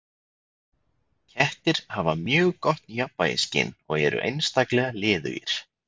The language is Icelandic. Kettir hafa mjög gott jafnvægisskyn og eru einstaklega liðugir.